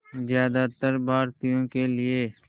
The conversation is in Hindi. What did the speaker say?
ज़्यादातर भारतीयों के लिए